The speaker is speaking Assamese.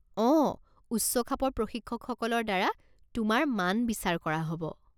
অঁ, উচ্চখাপৰ প্ৰশিক্ষকসকলৰ দ্বাৰা তোমাৰ মান বিচাৰ কৰা হ'ব।